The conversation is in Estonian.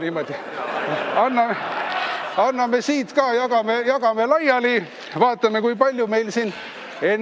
Ma annan siia ka, jagame laiali, vaatame, kui palju meid siin on ...